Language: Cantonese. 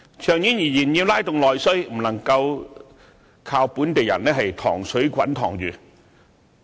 長遠而言，要拉動內需，不能夠靠本地人"塘水滾塘魚"。